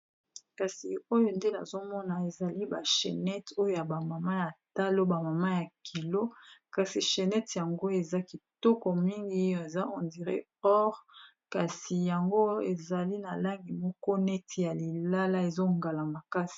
Kasi oyo nde nazomona ezali ba chenete oyo ya ba mama ya talo ba mama ya kilo kasi chenete yango eza kitoko mingi eza ondiré or kasi yango ezali na langi moko neti ya lilala ezongala makasi.